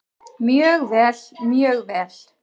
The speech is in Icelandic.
Mjög vel, mjög vel.